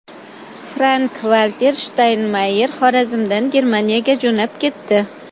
Frank-Valter Shtaynmayer Xorazmdan Germaniyaga jo‘nab ketdi.